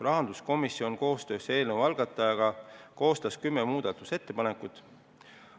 Rahanduskomisjon koostöös eelnõu algatajaga koostas kümme muudatusettepanekut.